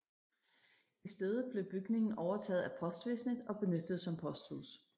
I stedet blev bygningen overtaget af postvæsenet og benyttet som posthus